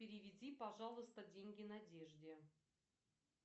переведи пожалуйста деньги надежде